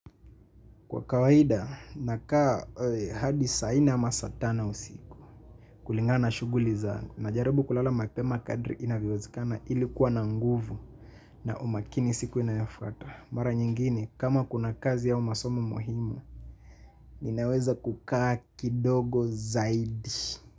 Kwa kawaida, nakaa hadi saa nne ama saa tano usiku, kulingana shughuli zangu. Najaribu kulala mapema kadri inavyowezekana ili kuwa na nguvu na umakini siku inayafuata. Mara nyingine, kama kuna kazi au masomo muhimu, ninaweza kukaa kidogo zaidi.